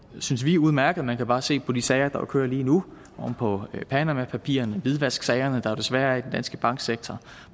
synes vi udmærket man kan bare se på de sager der kører lige nu oven på panamapapirerne hvidvasksagerne der jo desværre er i den danske banksektor